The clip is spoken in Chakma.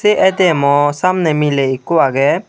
sey aitiemo samney miley ekkho agey.